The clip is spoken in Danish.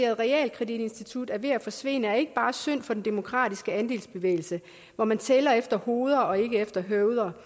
realkreditinstitut er ved at forsvinde er ikke bare synd for den demokratiske andelsbevægelse hvor man tæller efter hoveder og ikke efter høveder